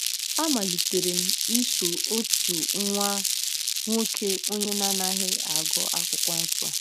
A malitere m iso otu nwa nwoke onye na-anaghị agụ Akwụkwọ Nsọ.